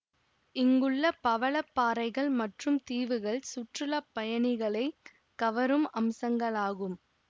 இங்குள்ள பவள பாறைகள் மற்றும் தீவுகள் சுற்றுலா பயணிகளை கவரும் அம்சங்களாகும்